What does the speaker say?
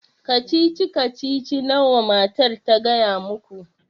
Kacici kacici nawa matar ta gaya muku?